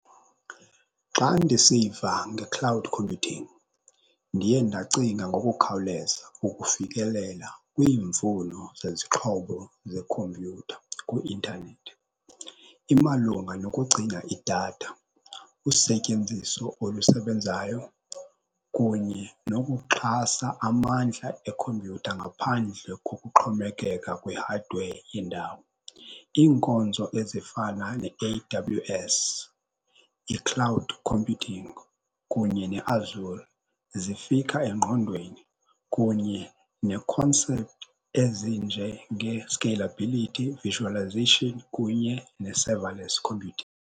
Xa ndisiva nge-cloud computing ndiye ndacinga ngokukhawuleza ukufikelela kwiimfuno zezixhobo zekhompyutha kwi-intanethi. Imalunga nokugcinga idatha, usetyenziso olusebenzayo kunye nokuxhasa amandla ekhompyutha ngaphandle kokuxhomekeka kwi-hardware yendawo. Iinkonzo ezifana ne-A_W_S, i-cloud computing kunye neAzure zifika engqondweni kunye ne-concept ezinjengee-scalability, visualization kunye ne-serverless computing.